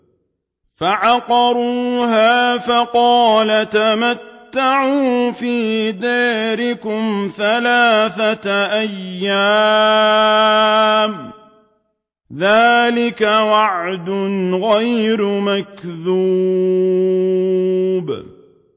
فَعَقَرُوهَا فَقَالَ تَمَتَّعُوا فِي دَارِكُمْ ثَلَاثَةَ أَيَّامٍ ۖ ذَٰلِكَ وَعْدٌ غَيْرُ مَكْذُوبٍ